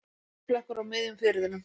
Olíuflekkur á miðjum firðinum